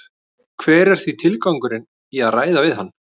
Hver er því tilgangurinn í að ræða við hann?